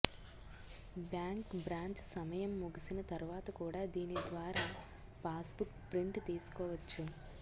bank branch సమయం ముగిసిన తరువాత కూడా దీని ద్వారా పాస్బుక్ ప్రింట్ తీసుకోవచ్చు